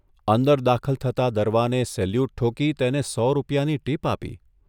અંદર દાખલ થતા દરવાને સેલ્યુટ ઠોકી તેને સો રૂપિયાની ટીપ આપી.